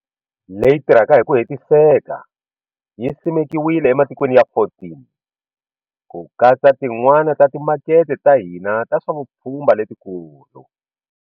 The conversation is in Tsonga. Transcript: Leyi tirhaka hi ku hetiseka yi simekiwile ematikweni ya 14, ku katsa tin'wana ta timakete ta hina ta swa vupfhumba letikulu.